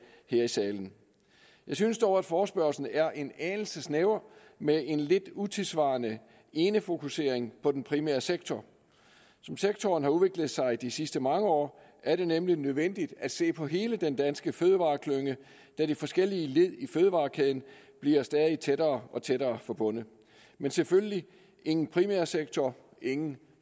her i salen jeg synes dog at forespørgslen er en anelse snæver med en lidt utidssvarende enefokusering på den primære sektor som sektoren har udviklet sig de sidste mange år er det nemlig nødvendigt at se på hele den danske fødevareklynge da de forskellige led i fødevarekæden bliver stadig tættere og tættere forbundet men selvfølgelig ingen primær sektor ingen